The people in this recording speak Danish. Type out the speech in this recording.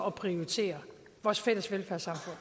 at prioritere vores fælles velfærdssamfund